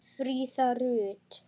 Fríða Rut.